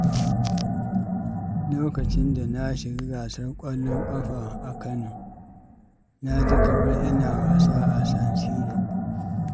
Lokacin da na shiga gasar ƙwallon ƙafa a Kano, na ji kamar ina wasa a San Siro.